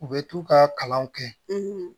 U bɛ t'u ka kalan kɛ